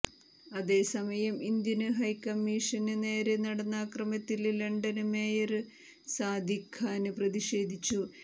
അതേസമയം Indian high commission നേരെ നടന്ന ആക്രമത്തില് ലണ്ടന് മേയര് സാദിഖ് ഖാന് പ്രതിഷേധിച്ചു